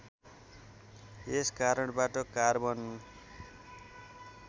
यस कारणबाट कार्बन